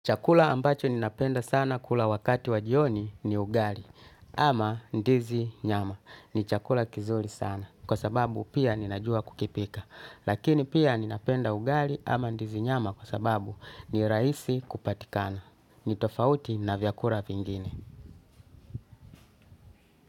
Chakula ambacho ninapenda sana kula wakati wa jioni ni ugali ama ndizi nyama ni chakula kizuri sana kwa sababu pia ninajua kukipika. Lakini pia ninapenda ugali ama ndizi nyama kwa sababu ni raisi kupatikana. Ni tofauti na vyakula vingine.